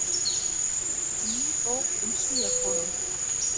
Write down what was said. Ný bók um Svíakonung